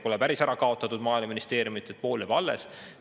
Pole päris ära kaotatud Maaeluministeeriumit, pool jääb alles.